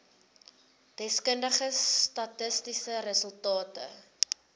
deskundige statistiese resultate